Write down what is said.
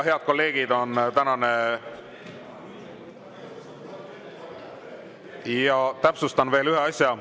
Head kolleegid, täpsustan ära veel ühe asja.